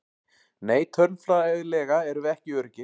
Nei tölfræðilega erum við ekki öruggir.